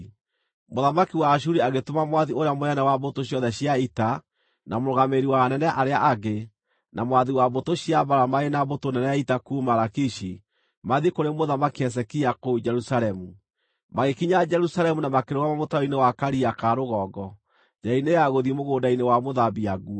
Mũthamaki wa Ashuri agĩtũma mwathi ũrĩa mũnene wa mbũtũ ciothe cia ita, na mũrũgamĩrĩri wa anene arĩa angĩ, na mwathi wa mbũtũ cia mbaara, marĩ na mbũtũ nene ya ita kuuma Lakishi mathiĩ kũrĩ Mũthamaki Hezekia kũu Jerusalemu. Magĩkinya Jerusalemu na makĩrũgama mũtaro-inĩ wa Karia ka Rũgongo, njĩra-inĩ ya gũthiĩ Mũgũnda-inĩ wa Mũthambia Nguo.